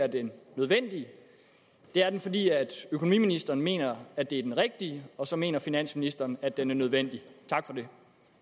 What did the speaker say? er den nødvendige det er den fordi økonomiministeren mener at det er den rigtige og så mener finansministeren at den er nødvendig tak for det